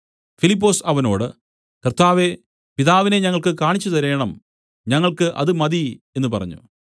ഫിലിപ്പൊസ് അവനോട് കർത്താവേ പിതാവിനെ ഞങ്ങൾക്കു കാണിച്ചുതരേണം ഞങ്ങൾക്കു അത് മതി എന്നു പറഞ്ഞു